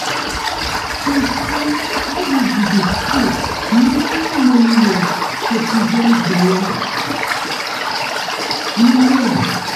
true-true iud dey stay many-many years to prevent belle. you know